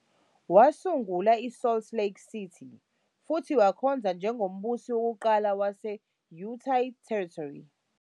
Wasungula i-Salt Lake City futhi wakhonza njengombusi wokuqala wase-Utah Territory.